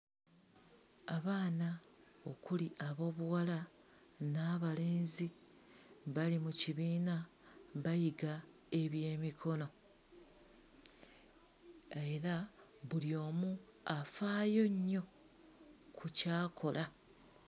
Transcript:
Abaana okuli aboobuwala n'abalenzi bali mu kibiina bayiga ebyemikono. Era buli omu afaayo nnyo ku ky'akola.